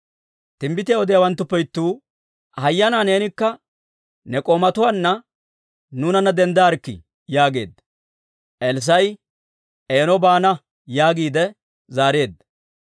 Timbbitiyaa odiyaawanttuppe ittuu, «Hayyanaa neenikka ne k'oomatuwaanna nuunanna denddaarkkii?» yaageedda. Elssaa'i, «Eeno baana» yaagiide zaareedda;